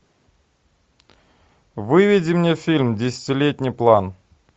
выведи мне фильм десятилетний план